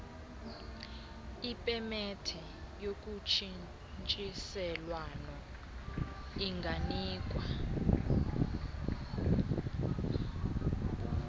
ipemethe yotshintshiselwano inganikwa